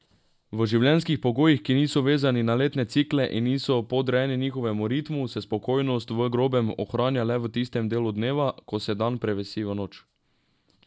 V življenjskih pogojih, ki niso vezani na letne cikle in niso podrejeni njihovemu ritmu, se spokojnost v grobem ohranja le v tistem delu dneva, ko se dan prevesi v noč.